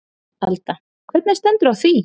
Alda: Hvernig stendur á því?